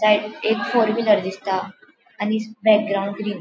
एक four wheeler दिसता आणि बॅकग्राऊंड ग्रीन --